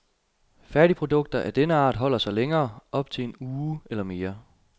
Færdigprodukter af denne art holder sig længere, op til en uge eller mere.